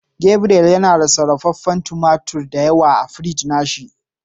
Gabriel yana da sarrafafen tumatur da yawa a pirig na shi.